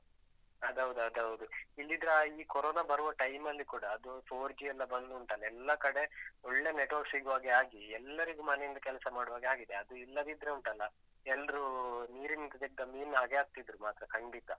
ಅದ್ ಹೌದ್, ಅದ್ ಹೌದು. ಇಲ್ದಿದ್ರೇ ಆ ಈ ಕೊರೊನ ಬರುವ time ಅಲ್ಲಿ ಕೂಡ ಅದು four G ಎಲ್ಲ ಬಂದುಂಟಲ್ಲ, ಎಲ್ಲ ಕಡೆ ಒಳ್ಳೆ network ಸಿಗುವ ಹಾಗೆ ಆಗಿ, ಎಲ್ಲರಿಗೂ ಮನೆಯಿಂದ ಕೆಲ್ಸ ಮಾಡುವ ಹಾಗೆ ಆಗಿದೆ. ಅದು ಇಲ್ಲದಿದ್ರೆ ಉಂಟಲ್ಲ, ಎಲ್ರೂ ನೀರಿನಿಂದ ತೆಗ್ದ ಮೀನ್ನ ಹಾಗೆ ಆಗ್ತಿದ್ರು ಮಾತ್ರ ಖಂಡಿತಾ.